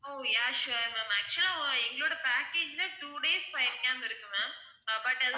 ஓ yeah sure ma'am actual ah எங்களோட package ல two days fire camp இருக்கு ma'am ah but